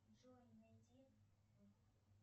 джой найди